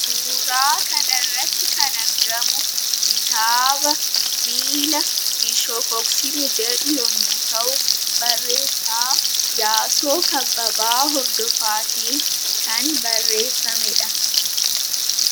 Suura kana irratti kan argamu kitaaba " Miila Hin Shokoksine" jedhu yemmuu ta'u, barreessaa Iyyaasuu Kabbabaa Hordofaatiin kan barreeffamedha.